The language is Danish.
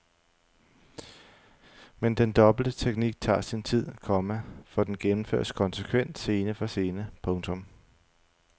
Men den dobbelte teknik tager sin tid, komma for den gennemføres konsekvent scene for scene. punktum